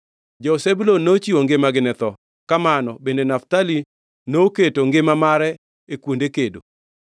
Jo-Zebulun nochiwo ngimagi ne tho; kamano bende Naftali noketo mare e kuonde kedo.